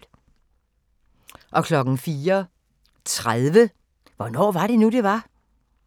04:30: Hvornår var det nu, det var?